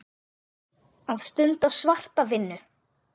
Að stunda svarta vinnu.